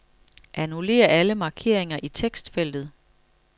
Annullér alle markeringer i tekstfeltet.